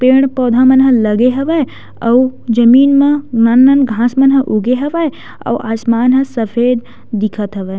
पेड़-पौधा मन ह लगे हवय अउ जमीन मा नान नान घास मन ह उगे हवयअउ आसमान ह सफ़ेद दिखत हवय।